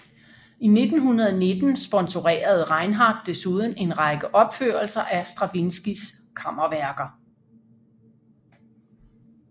I 1919 sponsorerede Reinhardt desuden en række opførelser af Stravinskijs kammerværker